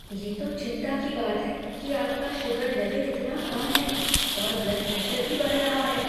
ये तो चिंता की बात है कि आपका शुगर लेवल इतना कम है, और ब्लड प्रेशर भी बढ़ रहा है।